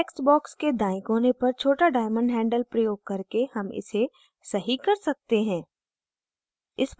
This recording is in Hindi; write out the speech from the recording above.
text box के दायें कोने पर छोटा diamond handle प्रयोग करके हम इसे सही कर सकते हैं